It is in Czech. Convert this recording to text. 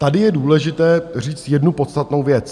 Tady je důležité říct jednu podstatnou věc.